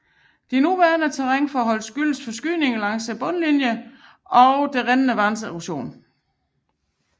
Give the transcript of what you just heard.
De nuværende terrænforhold skyldes forskydninger langs brudlinjer og det rindende vands erosion